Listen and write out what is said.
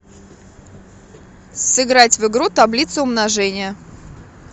сыграть в игру таблица умножения